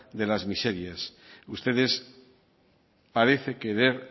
de las miserias ustedes parecen querer